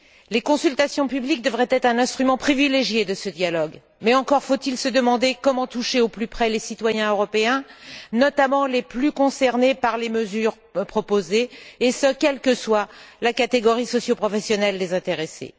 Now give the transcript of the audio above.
Les consultations publiques devraient être un instrument privilégié de ce dialogue mais encore faut il se demander comment toucher au plus près les citoyens européens, notamment les plus concernés par les mesures proposées, et ce quelle que soit la catégorie socioprofessionnelle des intéressés.